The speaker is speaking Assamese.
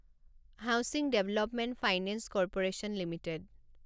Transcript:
housing development finance corporation limited